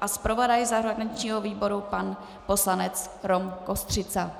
a zpravodaj zahraničního výboru pan poslanec Rom Kostřica.